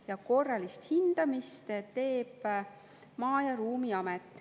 Ja korralist hindamist teeb Maa- ja Ruumiamet.